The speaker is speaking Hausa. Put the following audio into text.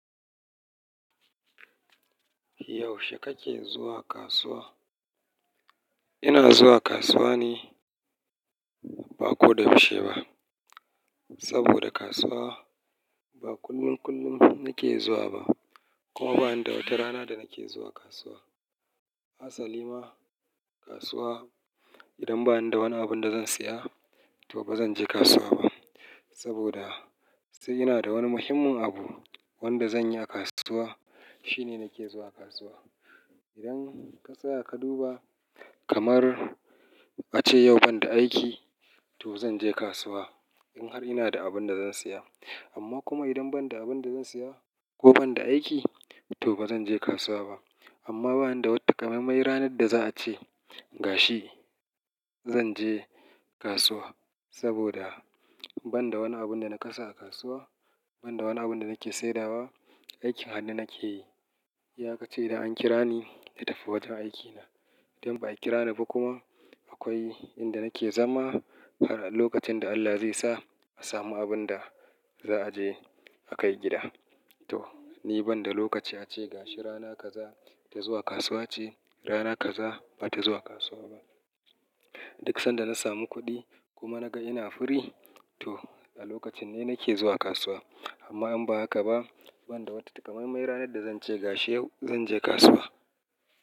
Yaushe kake zuwa kasuwa? Ina zuwa kasuwa ne ba ko da yaushe ba. Saboda kasuwa ba kullum kullum nake zuwa ba, kuma ba ni da wata rana da nake zuwa kasuwa. Hasali ma kasuwa idan ba ni da wani abin da zan saya to ba zan je kasuwa ba. Saboda sai ina da wani muhimmin abu wanda zan yi a kasuwa shine nake zuwa kasuwa. Idan ka tsaya ka duba kamar a ce yau ban da aiki to zan je kasuwa in har ina da abin da zan saya. Amma kuma idan ban da abin da zan saya ko ban da aiki to ba ran je kasuwa ba. Amma ba ni da wata takamaimai ranar da za a ce gashi zan je kasuwa. Saboda ban da wani abin da na kasa a kasuwa, ban da wani abin da nake saidawa, aikin hannu nake yi. Iya ka ci idan an kira ni na tafi wajen aikina idan ba a kira ni ba kuma akwai inda nake zama har a lokacin da Allah zai sa a samu abin da za a je a kai gida. To ni ban da lokaci a ce gashi rana kaza ta zuwa kasuwa ce rana kaza ba ta zuwa kasuwa ba. Duk sanda na samu kuɗi kuma na ga ina free to a lokacin ne nake zuwa kasuwa. Amma in ba haka ba ban da wata takamaimai ranar da zan ce gashi yau zan je kasuwa.